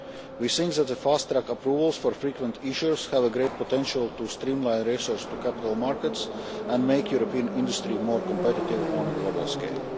We think that the fast track approvals for frequent issuers have a great potential to streamline recourse to capital markets and make European industry more competitive on a global scale.